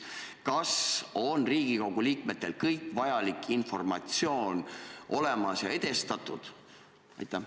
Kas Riigikogu liikmetel on kõik vajalik informatsioon olemas ja see on edastatud?